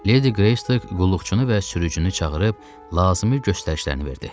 Lady Greystoke qulluqçunu və sürücünü çağırıb, lazım göstərişlərini verdi.